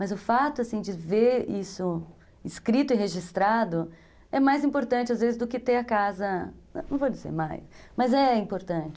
Mas o fato de ver isso escrito e registrado é mais importante, às vezes, do que ter a casa... Não vou dizer mais, mas é importante.